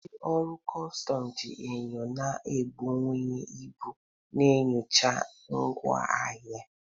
Ndị ọrụ kọstọm ji enyo na-ebuwanye ibu enyocha ngwa ahịa.